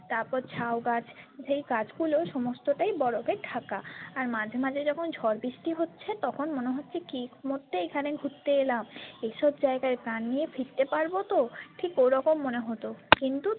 তারপর ঝাউগাছ যেই গাছগুলো সমস্তটাই বরফে ঢাকা আর মাঝে মাঝে যখন ঝড় বৃষ্টি হচ্ছে তখন মনে হচ্ছে কি মরতে এখানে ঘুরতে এলাম এসব জায়গায় প্রাণ নিয়ে ফিরতে পারবো তো ঠিক ওরকম মনে হত কিন্তু।